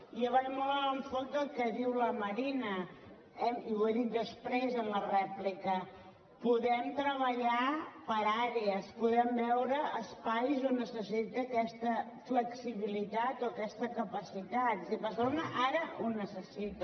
i jo vaig molt en l’enfocament del que diu la marina i ho he dit després en la rèplica podem treballar per àrees podem veure espais on es necessita aquesta flexibilitat o aquesta capacitat i barcelona ara ho necessita